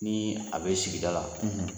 Nii a be sigida la